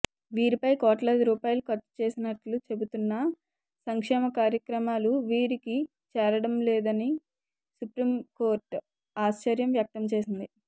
వీరిపై కోట్లాదిరూపాయలు ఖర్చుచేసినట్లు చెపుతున్నా సంక్షేమకార్యక్రమాలు వీరికి చేరడంలేదని సుప్రీంకోర్టు ఆశ్చర్యం వ్యక్తంచేసింది